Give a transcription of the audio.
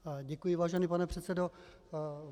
Děkuji, vážený pane předsedo.